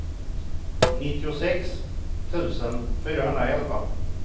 nittiosex tusen fyrahundraelva